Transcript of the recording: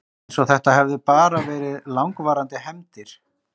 Eins og þetta hefðu bara verið langvarandi hefndir.